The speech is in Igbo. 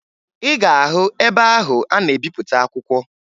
Ị ga-ahụ ebe ahụ a na-ebipụta akwụkwọ